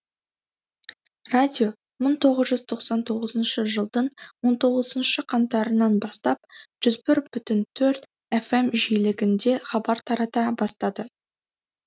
радио мың тоғыз жүз тоқсан тоғызыншы жылдың он тоғызыншы қаңтарынан бастап жүз бір бүтін төрт фм жиілігінде хабар тарата бастады